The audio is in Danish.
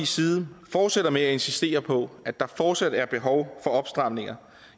side fortsætter med at insistere på at der fortsat er behov for opstramninger